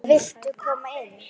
Viltu koma inn?